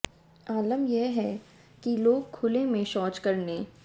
आलम यह है कि लोग खुले में शौच करने